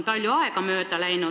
Palju aega on mööda läinud.